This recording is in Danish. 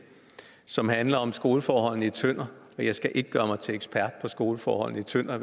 som handlede om skoleforholdene i tønder og jeg skal ikke gøre mig til ekspert på skoleforholdene i tønder